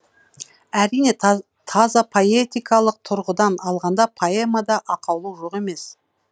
әрине таза поэтикалық тұрғыдан алғанда поэмада ақаулық жоқ емес